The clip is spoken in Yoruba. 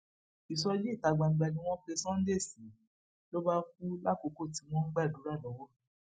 ìsọjí ìta gbangba ni wọn pe sunday sí ló bá kú lákòókò tí wọn ń gbàdúrà lọwọ